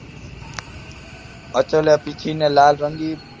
અચલે પીછી ને લાલ રંગી